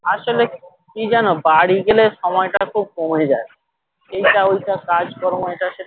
আসলে কি জানো বাড়ি গেলে সময়টা খুব কমে যাই এইটা ওইটা কাজ কর্ম এটা সেটা